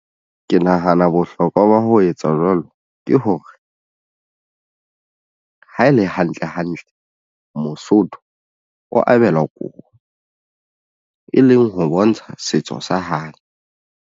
Ke nahana bohlokwa ba ho etsa jwalo ke hore ha e le hantle hantle mosotho o abelwa kobo e leng ho bontsha setso sa hae.